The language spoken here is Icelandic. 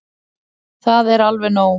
Það er alveg nóg.